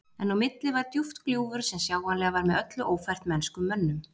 En á milli var djúpt gljúfur sem sjáanlega var með öllu ófært mennskum mönnum.